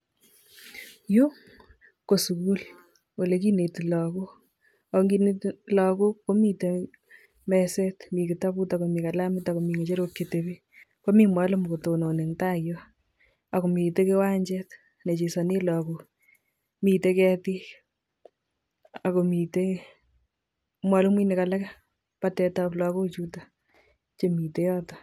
Yuu ko sukul olekinetii lagook ak inginetii lagook ko miten meset miten kitabut ak ko Mii kalamit ak ko Mii ngecherok cheteben ko mii konetindet kotelelii en taa ak ko miten wanjet ne chesonen lagook miten ketik ak ko miten mwalimuinik alak batet ab lagochuton chemiten yoton